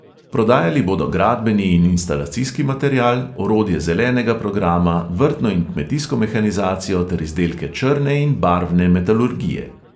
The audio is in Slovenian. Prodajali bodo gradbeni in instalacijski material, orodje zelenega programa, vrtno in kmetijsko mehanizacijo ter izdelke črne in barvne metalurgije.